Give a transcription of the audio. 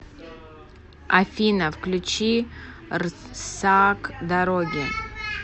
афина включи рсак дороги